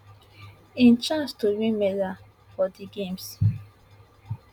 im chance to win medal for di games